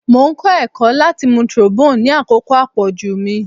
Mo n kọ ẹkọ lati mu trombone ni akoko apoju mi